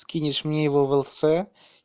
скинешь мне его в л с